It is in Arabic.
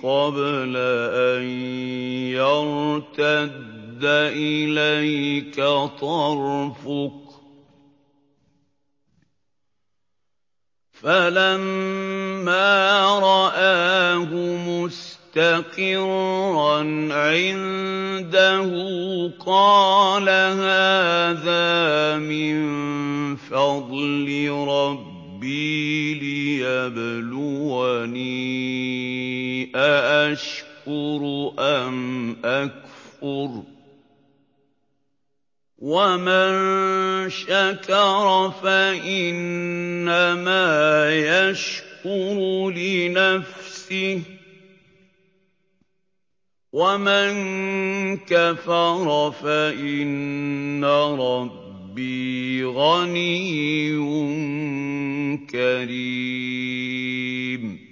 قَبْلَ أَن يَرْتَدَّ إِلَيْكَ طَرْفُكَ ۚ فَلَمَّا رَآهُ مُسْتَقِرًّا عِندَهُ قَالَ هَٰذَا مِن فَضْلِ رَبِّي لِيَبْلُوَنِي أَأَشْكُرُ أَمْ أَكْفُرُ ۖ وَمَن شَكَرَ فَإِنَّمَا يَشْكُرُ لِنَفْسِهِ ۖ وَمَن كَفَرَ فَإِنَّ رَبِّي غَنِيٌّ كَرِيمٌ